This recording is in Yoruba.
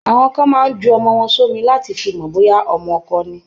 Àwọn kan máa ń ju ọmọ wọn sómi láti fi mọ bóyá ọmọ ọkọ ni.